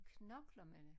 Knokler med det